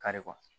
Kari kuwa